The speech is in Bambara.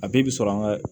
A bɛɛ bi sɔrɔ an ka